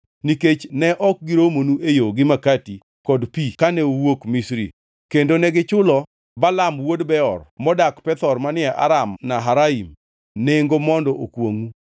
nikech ne ok giromonu e yo gi makati kod pi kane uwuok Misri, kendo negichulo Balaam wuod Beor modak Pethor manie Aram-Naharaim nengo mondo okwongʼu.